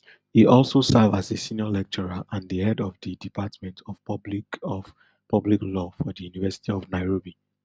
e also serve as a senior lecturer and di head of di department of public of public law for di university of nairobi